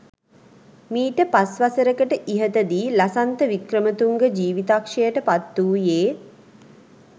මීට පස් වසරකට ඉහත දී ලසන්ත වික්‍රමතුංග ජීවිතක්ෂයට පත් වූයේ